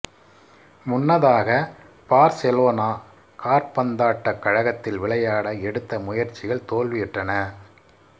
முன்னதாக பார்செலோனா காற்பந்தாட்டக் கழகத்தில் விளையாட எடுத்த முயற்சிகள் தோல்வியுற்றன